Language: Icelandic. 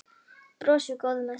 Brosir, góður með sig.